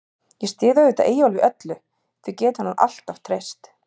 Ég styð auðvitað Eyjólf í öllu, því getur hann alltaf treyst.